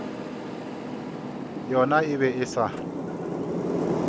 yona e be e sa